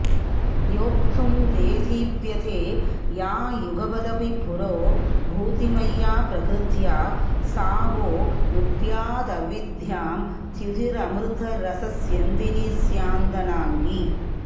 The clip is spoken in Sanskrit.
योक्तुं देदीप्यते या युगपदपि पुरो भूतिमय्या प्रकृत्या सा वो नुद्यादविद्यां द्युतिरमृतरसस्यन्दिनी स्यान्दनाङ्गी